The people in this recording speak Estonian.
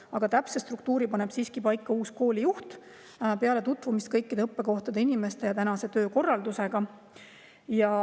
Aga täpse struktuuri paneb siiski paika uus koolijuht peale tutvumist kõikide õppekohtade, inimeste ja töökorraldusega.